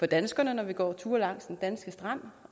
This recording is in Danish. danskere når vi går ture langs den danske strand